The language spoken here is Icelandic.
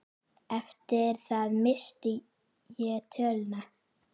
Eftir það missti ég töluna.